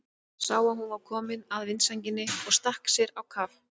Sá að hún var komin að vindsænginni og stakk sér á kaf.